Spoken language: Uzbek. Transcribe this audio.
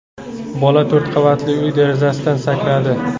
Bola to‘rt qavatli uy derazasidan sakradi.